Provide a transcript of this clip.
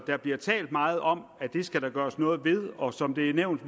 der bliver talt meget om at det skal der gøres noget ved og som det er nævnt